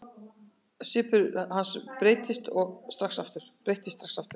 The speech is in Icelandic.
Svipur hans breyttist strax aftur.